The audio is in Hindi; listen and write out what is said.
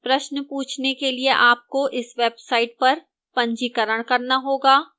प्रश्न पूछने के लिए आपको इस website पर पंजीकरण करना होगा